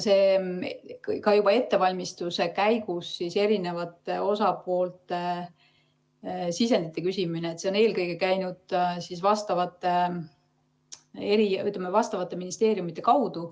Ka juba ettevalmistuse käigus eri osapooltelt sisendi küsimine on eelkõige käinud vastavate ministeeriumide kaudu ...